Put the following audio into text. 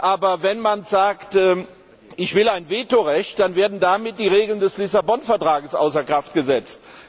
Aber wenn man sagt, man wolle ein Vetorecht haben, dann werden damit die Regeln des Lissabon Vertrags außer Kraft gesetzt.